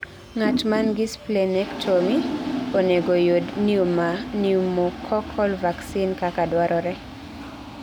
Ng'at mangi splenectomy onego yud pneumococcal vaccine kaka dwarore